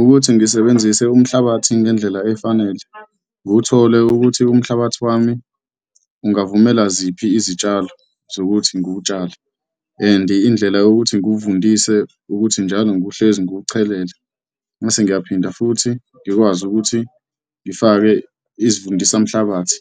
Ukuthi ngisebenzise umhlabathi ngendlela efanele, ngiwuthole ukuthi umhlabathi wami ungavumela ziphi izitshalo zokuthi ngiwutshale and indlela yokuthi ngiwuvundise ukuthi njalo nguwuhlezi ngiwucelela mase ngiyaphinda futhi ngikwazi ukuthi ngifake izivundisamhlabathi,